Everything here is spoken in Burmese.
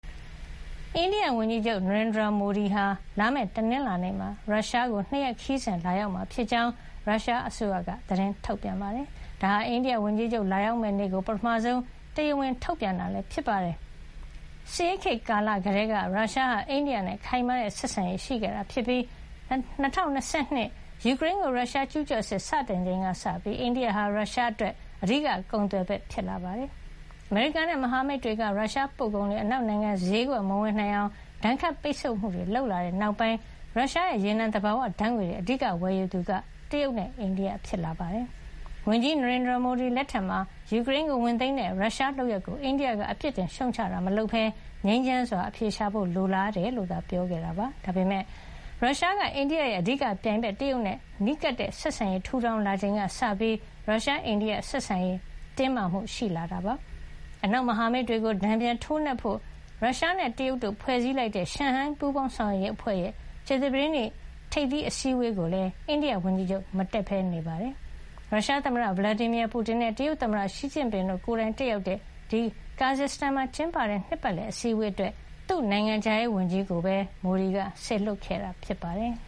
အိန္ဒိယဝန်ကြီးချုပ် နရိန်ဒရာမိုဒီဟာ လာမယ့် တနင်္လာနေ့မှာ ရုရှားနိုင်ငံကို ၂ ရက် ခရီးစဉ်လာရောက်မှာ ဖြစ်ကြောင်း ရုရှားအစိုးရက သတင်းထုတ်ပြန်ပါတယ်။ ဒါဟာ အိန္ဒိယဝန်ကြီးချုပ် လာရောက်မယ့်နေ့ကို ပထမဆုံး တရားဝင် ထုတ်ပြန်တာ ဖြစ်ပါတယ်။ စစ်ဆေးခေတ်ကာလ ကတည်းက ရုရှားဟာ အိန္ဒိယနဲ့ ခိုင်မာတဲ့ဆက်ဆံရေး ရှိခဲ့တာဖြစ်ပြီး ၂၀၂၂ ယူကရိန်းကို ရုရှား ကျူးကျော်စစ် စတင်ချိန်ကစပြီး အိန္ဒိယဟာ ရုရှားအတွက် အဓိကကုန်သွယ်ဖက် ဖြစ်လာတာပါ။ အမေရိကန်နဲ့ မဟာမိတ်တွေက ရုရှားပို့ကုန်တွေ အနောက်နိုင်ငံ ဈေးကွက်မဝင်နိုင်အောင် ဒဏ်ခတ်ပိတ်ဆို့မှုတွေ လုပ်လာတဲ့နောက်ပိုင်း ရုရှားရဲ့ရေနံ သဘာဝဓါတ်ငွေ့တွေ အဓိကဝယ်ယူသူက တရုတ်နဲ့ အိန္ဒိယ ဖြစ်လာခဲ့ပါတယ်။ ဝန်ကြီးချုပ် နရိန်ဒရာမိုဒီ လက်ထက်မှာတော့ ယူကရိန်းကိုဝင်သိမ်းတဲ့ ရုရှားလုပ်ရပ်ကို အိန္ဒိယက ပြစ်တင်ရှုတ်ချတာ မလုပ်ပဲ ငြိမ်းချမ်းစွာအဖြေရှာဖို့ လိုတယ်လို့သား ပြောကြားခဲ့တာပါ။ ဒါပေမယ့် ရုရှားက အိန္ဒိယရဲ့ အဓိကပြိုင်ဘက် တရုတ်နဲ့ နီးကပ်တဲ့ဆက်ဆံရေး ထူထောင်လာချိန်ကစပြီး ရုရှား - အိန္ဒိယ ဆက်ဆံရေး တင်းမာမှု ရှိလာခဲ့ပါတယ်။ အနောက်မဟာမိတ်တွေကို တန်ပြန်ထိုးနှက်ဖို့ ရုရှားနဲ့ တရုတ်တို့ ဖွ့ဲစည်းလိုက်တဲ့ ရှန်ဟိုင်း ပူးပေါင်းဆောင်ရွက်ရေးအဖွဲ့ရဲ့ ကြာသပတေးနေ့က ကျင်းပတဲ့ ထိပ်သီး အစည်းဝေးကိုလည်း အိန္ဒိယဝန်ကြီးချုပ် မတက်ပဲ နေခဲ့တာပါ။ ရုရှား သမ္မတ Vladimir Putin နဲ့ တရုတ်သမ္မတ ရှီကျင့်ပင်တို့ ကိုယ်တိုင်တက်ရောက်တဲ့ ကာဇက်စတန် မြို့တော် Astana မှာ ကျင်းပတဲ့ ဒီနှစ်ပတ်လည် အစည်းဝေးအတွက် သူ့နိုင်ငံခြားရေးဝန်ကြီးကိုပဲ မိုဒီက စေလွှတ်ခဲ့တာ ဖြစ်ပါတယ်။